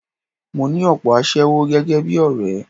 Mo ní òpò aṣẹ́wó gẹ́gẹ́ bí ọ̀rẹ́.